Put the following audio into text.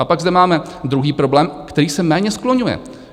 A pak zde máme druhý problém, který se méně skloňuje.